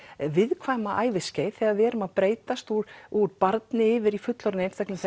viðkvæma æviskeið þegar við erum að breytast úr úr barni yfir í fullorðinn einstakling